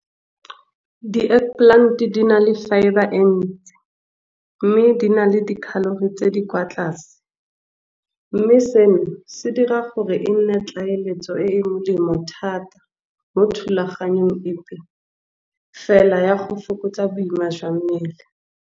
Di-egg plant di na le fibre e ntsi mme di na le di-calorie tse di kwa tlase. Mme seno se dira gore e nne tlaleletso e e molemo thata mo thulaganyong epe, fela ya go fokotsa boima jwa mmele.